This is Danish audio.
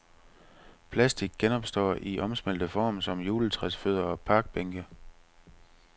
Plastik genopstår i omsmeltet form som juletræsfødder og parkbænke.